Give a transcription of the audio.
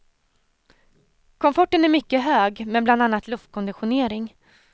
Komforten är mycket hög, med bland annat luftkonditionering.